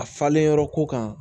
A falenyɔrɔ ko kan